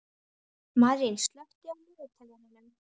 Marín, slökktu á niðurteljaranum.